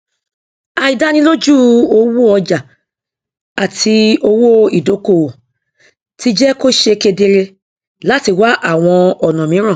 àìdánilójú owó ọjà àti owó ìdókòwò ti jẹ kó ṣe kedere láti wá àwọn ọnà mìíràn